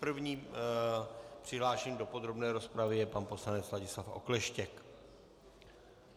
První přihlášený do podrobné rozpravy je pan poslanec Ladislav Okleštěk.